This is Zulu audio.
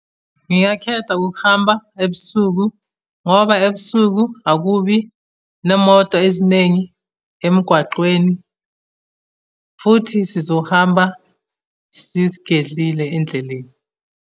Ngingakhetha ukuhamba ebusuku ngoba ebusuku akubi nemoto eziningi emgwaqweni, futhi sizohamba sizigedlile endleleni.